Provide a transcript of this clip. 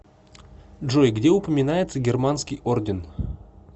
джой где упоминается германский орден